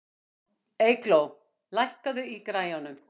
Eygló, lækkaðu í græjunum.